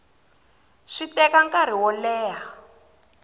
swi teka nkarhi wo leha